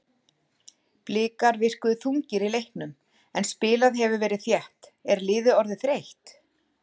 Blikar virkuðu þungir í leiknum en spilað hefur verið þétt, er liðið orðið þreytt?